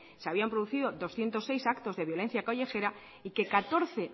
se habían producido doscientos seis actos de violencia callejera y que catorce